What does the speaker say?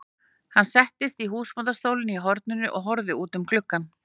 Hann settist í húsbóndastólinn í horninu og horfði út um gluggann.